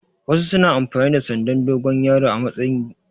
Wasu suna amfani da sandan dogon yaro a matsayin magogi.